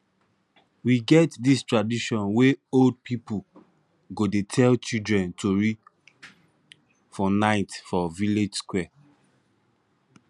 we get dis tradition wey old pipu go dey tell childre tori for night for village square